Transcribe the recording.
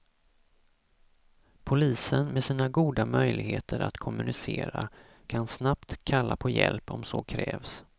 Polisen, med sina goda möjligheter att kommunicera, kan snabbt kalla på hjälp om så krävs.